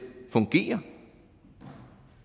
fungere